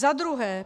Za druhé.